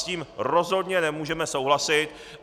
S tím rozhodně nemůžeme souhlasit.